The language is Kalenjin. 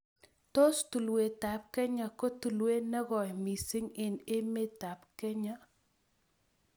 Tos' tulwetap kenya ko tulewet ne goi misiing' eng' emetap Kenya